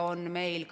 Arvo Aller, palun!